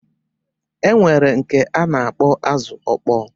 E nwere nke a na-akpọ azụ ọkpọ